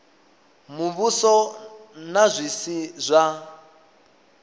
muvhuso na zwi si zwa